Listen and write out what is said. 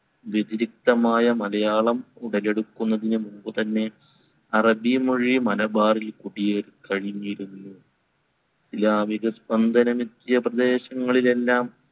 മലയാളം ഉടലെടുക്കന്നതിനു മുൻപുതന്നെ അറബി മൊഴി മലബാറിൽ കുടിയേറിക്കഴിഞ്ഞിരുന്നു. ഇസ്ലാമിക സ്‌പന്ദനം എത്തിയ പ്രദേശങ്ങളിലെല്ലാം